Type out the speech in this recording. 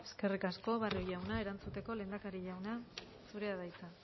eskerrik asko barrio jauna erantzuteko lehendakari jauna zurea da hitza